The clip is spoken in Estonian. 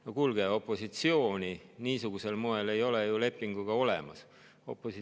No kuulge, opositsiooni niisugusel moel ei ole ju lepingu olemas.